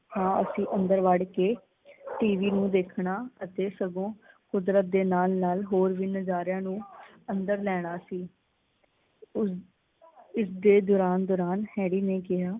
ਹਾਂ ਅਸੀਂ ਅੰਦਰ ਵੜ ਕੇ ਟੀਵੀ ਨੂੰ ਦੇਖਣਾ ਅਤੇ ਸਗੋ ਕੁਦਰਤ ਦੇ ਨਾਲ ਨਾਲ ਹੋਰ ਵੀ ਨਜ਼ਾਰਿਆਂ ਨੂੰ ਅੰਦਰ ਲੈਣਾ ਸੀ। ਇਸ ਦੇ ਦੌਰਾਨ ਦੌਰਾਨ ਹੈਰੀ ਨੇ ਕਿਹਾ